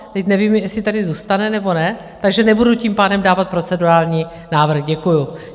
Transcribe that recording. Teď nevím, jestli tady zůstane, nebo ne, takže nebudu tím pádem dávat procedurální návrh, děkuji.